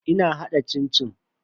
Ina hada cin-cin.